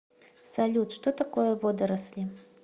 салют что такое водоросли